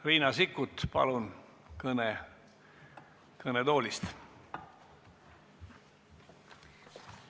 Riina Sikkut, palun kõne kõnetoolist!